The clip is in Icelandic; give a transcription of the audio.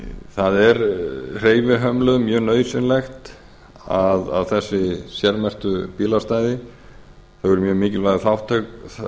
það er hreyfihömluðum mjög nauðsynlegt að þessi sérmerktu bílastæði þau eru mjög mikilvægur